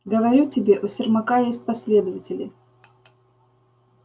говорю тебе у сермака есть последователи